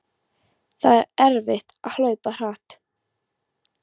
Það var erfitt að hlaupa hratt.